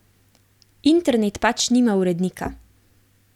Internet pač nima urednika.